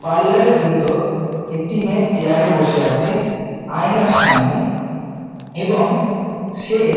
parlour -এর ভেতর একটি মেয়ে চেয়ার -এ বসে আছে আয়নার সামনে এবং সে |